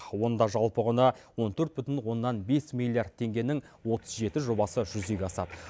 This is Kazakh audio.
онда жалпы құны он төрт бүтін оннан бес миллиард теңгенің отыз жеті жобасы жүзеге асады